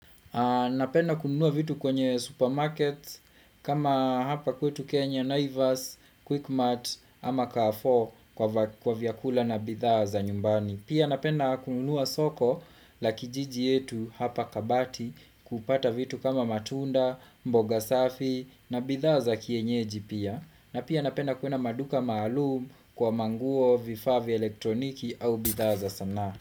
Napenda kununua vitu kwenye supermarkets kama hapa kwetu Kenya, Naivas, Quickmart ama Car4 kwa vyakula na bidhaa za nyumbani. Pia napenda kununua soko la kijiji yetu hapa kabati kupata vitu kama matunda, mboga safi na bidhaa kienyeji pia. Napia napenda kwenda maduka maalum kwa manguo vifaa vya elektroniki au bidhaa za sana.